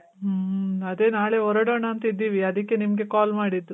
ಮ್ಮ್. ಅದೆ ನಾಳೆ ಹೊರೊಡೋಣ ಅಂತ್ ಇದ್ದೀವಿ. ಅದಕ್ಕೆ ನಿಮ್ಗೆ call ಮಾಡಿದ್ದು.